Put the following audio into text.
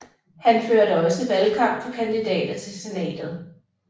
Han førte også valgkamp for kandidater til senatet